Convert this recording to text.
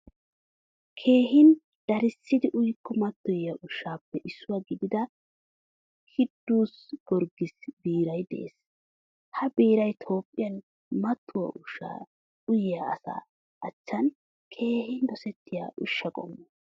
Keehin darisidi uyiko matoyiya ushshappe issuwaa gidida Kidus Giyorgisa biiray de'ees. Ha biiray Toohphiyaan matuwaa ushsha uyiya asa achchan keehin dosettiya ushsha qommo.